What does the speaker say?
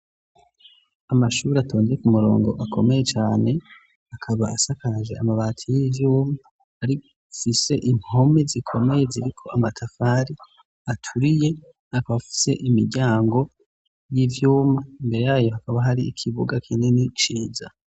Amashure atonze ku murongo akomeye cane, akaba asakaje amabati y'ivyuma, afise impome zikomeye ziriko amatafari aturiye, akaba afise imiryango y'ivyuma, imbere yayo hakaba hari ikibuga kinini ciza.